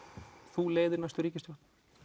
þú leiðir næstu ríkisstjórn